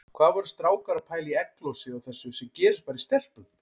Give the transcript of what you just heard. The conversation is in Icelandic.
Hvað voru strákar að pæla í egglosi og þessu sem gerist bara í stelpum!